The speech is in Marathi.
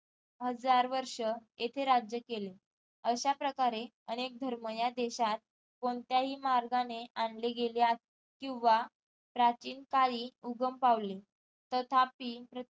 हजार वर्ष येथे राज्य केले अश्या प्रकारे अनेक धर्म या देशात कोणत्या ही मार्गाने आणले गेले किंवा प्राचीन काळी उगम पावले तथापी